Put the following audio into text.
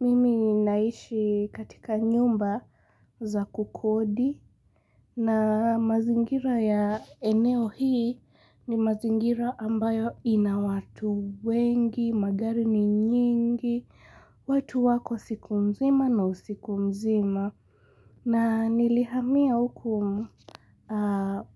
Mimi ninaishi katika nyumba za kukodi na mazingira ya eneo hii ni mazingira ambayo inawatu wengi, magari ni nyingi, watu wako siku mzima na usiku mzima. Na nilihamia huku